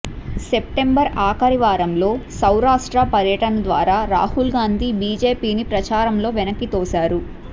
September ఆఖరివారంలో సౌరాష్ట్ర పర్యటన ద్వారా రాహుల్ గాంధీ బిజెపిని ప్రచారంలో వెనక్కితోశారు